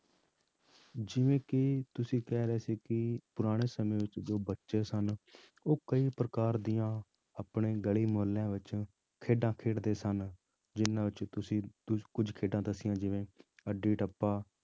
ਜਿਵੇਂ ਕਿ ਤੁਸੀਂ ਕਹਿ ਰਹੇ ਸੀ ਕਿ ਪੁਰਾਣੇ ਸਮੇਂ ਵਿੱਚ ਜੋ ਬੱਚੇ ਸਨ, ਉਹ ਕਈ ਪ੍ਰਕਾਰ ਦੀਆਂ ਆਪਣੀ ਗਲੀ ਮੁਹੱਲਿਆਂ ਵਿੱਚ ਖੇਡਾਂ ਖੇਡਦੇ ਸਨ, ਜਿੰਨਾਂ ਵਿੱਚ ਤੁਸੀਂ ਕੁੱਝ, ਕੁੱਝ ਖੇਡਾਂ ਦੱਸੀਆਂ ਜਿਵੇਂ ਅੱਡੀ ਟੱਪਾ,